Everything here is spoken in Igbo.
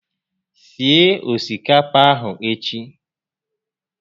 Sie osikapa a echi